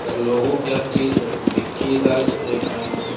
और लोगो क्या चीज़ है बिक्की राज ऐहां।